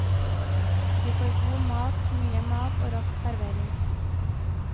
Vi får god mat, mye mat og rask servering.